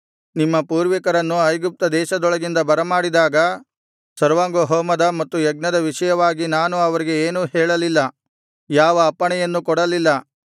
ನಿಮ್ಮ ಪೂರ್ವಿಕರನ್ನು ಐಗುಪ್ತ ದೇಶದೊಳಗಿಂದ ಬರಮಾಡಿದಾಗ ಸರ್ವಾಂಗಹೋಮದ ಮತ್ತು ಯಜ್ಞದ ವಿಷಯವಾಗಿ ನಾನು ಅವರಿಗೆ ಏನೂ ಹೇಳಲಿಲ್ಲ ಯಾವ ಅಪ್ಪಣೆಯನ್ನು ಕೊಡಲಿಲ್ಲ